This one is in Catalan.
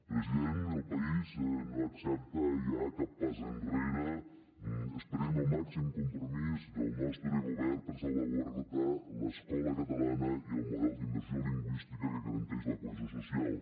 president el país no accepta ja cap pas enrere esperem el màxim compromís del nostre govern per salvaguardar l’escola catalana i el model d’immersió lingüística que garanteix la cohesió social